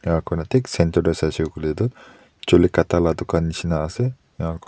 enikakurna thik center tae saishey koilae tu chuli kata la dukan nishina ase enaku--